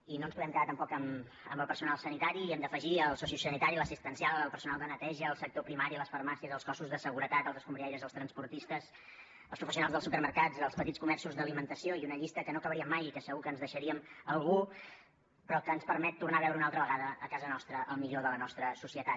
i no ens podem quedar tampoc amb el personal sanitari hi hem d’afegir el sociosanitari l’assistencial el personal de neteja el sector primari les farmàcies els cossos de seguretat els escombriaires els transportistes els professionals dels supermercats els petits comerços d’alimentació i una llista que no acabaríem mai i que segur que ens deixaríem algú però que ens permet tornar a veure una altra vegada a casa nostra el millor de la nostra societat